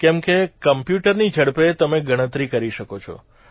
કેમ કે કમ્પ્યુટરની ઝડપે તમે ગણતરી કરી શકો છો